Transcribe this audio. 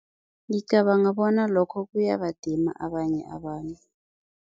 Ngicabanga bona lokho kuyabadima abanye abantu.